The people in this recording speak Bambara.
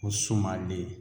Ko sumalen